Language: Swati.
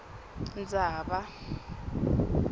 ndzaba